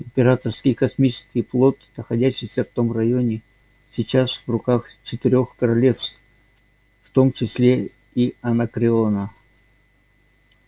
императорский космический флот находящийся в этом районе сейчас в руках четырёх королевств в том числе и анакреона